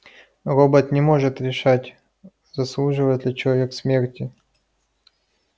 робот не может решать заслуживает ли человек смерти